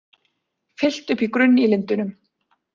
Fyllt upp í grunn í Lindunum